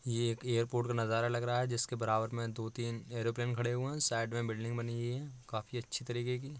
ये एक एयरपोर्ट का नज़ारा लग रहा है जिसके बराबर में दो-तीन एरोप्लेन खड़े हुए हैं। साइड में बिल्डिंग बनी हुई है काफी अच्छी तरीके की।